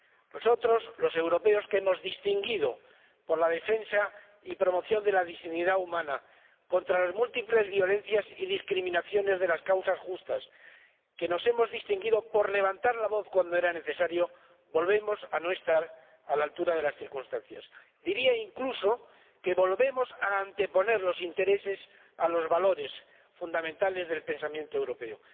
Nosotros, los europeos, que nos hemos distinguido por la defensa y promoción de la dignidad humana contra las múltiples violencias y discriminaciones de las causas justas, que nos hemos distinguido por levantar la voz cuando era necesario, volvemos a no estar a la altura de las circunstancias. Diría, incluso, que volvemos a anteponer los intereses a los valores fundamentales del pensamiento europeo.